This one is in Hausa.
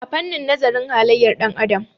a fannin nazarin haliyyar ɗan'adam